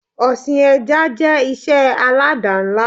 Ọsìn ẹja jẹ́ ìṣe alada ńlá